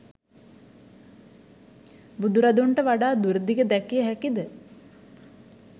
බුදුරදුන්ට වඩා දුරදිග දැකිය හැකි ද?